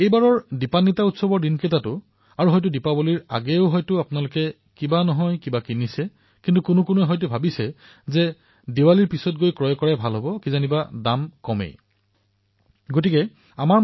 এই দিপাৱলীতো দিপাৱলীৰ পূৰ্বে আপোনালোকে বহু বস্তু ক্ৰয় কৰিছে কিন্তু এনে বহু লোক আছে যিয়ে ভাবে যে দিপাৱলীৰ পিছত ক্ৰয় কৰিলে সস্তাতে কিনিবলৈ পোৱা যাব